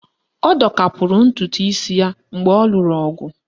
Ọ dọkapụrụ ntụtụisi ya mgbe ọ lụrụ ọgụ